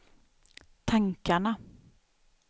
tankarna